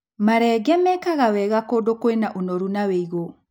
Marenge mekaga wega kũndũ kwĩna ũnoru na wĩigũ.